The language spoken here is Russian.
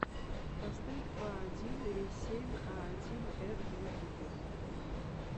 поставь фа один ри семь а один эд в ютубе